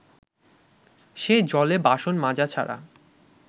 সে জলে বাসন মাজা ছাড়া